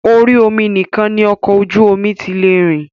Orí omi nìkan ni ọkọ̀ ojú omi tí lè rìn.